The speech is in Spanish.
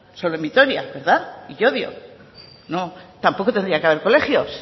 solo en vitoria verdad y llodio no tampoco tendría que haber colegios